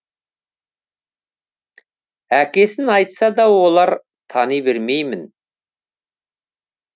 әкесін айтса да оларды тани бермеймін